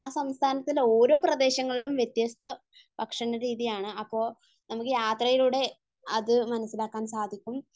ആ സംസ്ഥാനത്തിന്റെ ഓരോ പ്രദേശങ്ങൾക്കും വ്യത്യസ്ത ഭക്ഷണരീതിയാണ്. അപ്പോൾ നമുക്ക് യാത്രയിലൂടെ അത് മനസ്സിലാക്കാൻ സാധിക്കും.